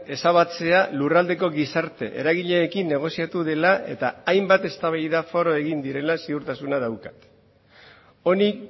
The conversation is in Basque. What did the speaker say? ezabatzea lurraldeko gizarte eragileekin negoziatu dela eta hainbat eztabaida foro egin direla ziurtasuna daukat honi